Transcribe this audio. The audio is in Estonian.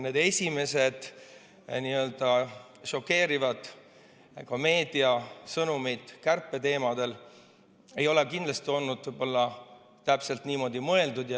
Need esimesed šokeerivad meediasõnumid kärpe teemadel ei ole kindlasti olnud täpselt niimoodi mõeldud.